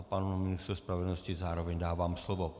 A panu ministru spravedlnosti zároveň dávám slovo.